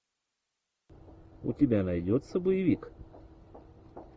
у тебя найдется боевик